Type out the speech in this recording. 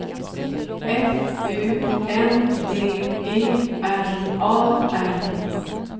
F U N D E R A R